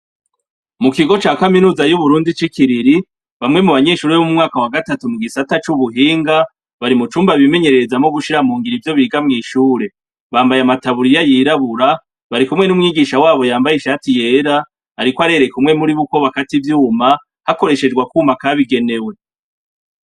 Mu kigo ca kaminuza y'uburundi c'ikiriri bamwe mu banyeshuri b'u mwaka wa gatatu mu gisata c'ubuhinga bari mu cumba bimenyerereza mo gushira mu ngira ivyo biga mw'ishure bambaye amataburiya yirabura bari kumwe n'umwigisha wabo yambaye ishati yera, ariko arere kumwe muri buko bakati vyuma hakoreshejwa kwuma akabigenewe.